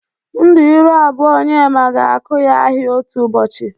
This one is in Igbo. Ndu ịrụ abụọ Onyema ga-akụ ya ahịa otu ụbọchi.